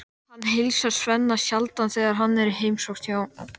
Hvaðan kemur þér sú sannfæring, sagði Jón Ármann hneykslaður